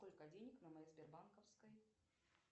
сколько денег на моей сбербанковской